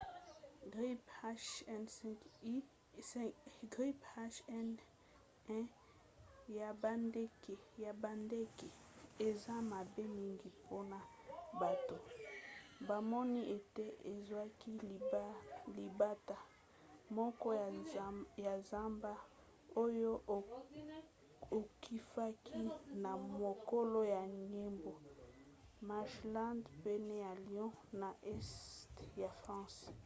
grippe h5n1 ya bandeke eza mabe mingi mpona bato; bamoni ete ezwaki libata moko ya zamba oyo akufaki na mokolo ya yambo marshland pene ya lyon na este ya france